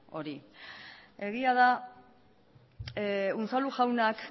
hori egia da unzalu jaunak